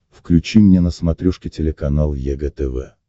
включи мне на смотрешке телеканал егэ тв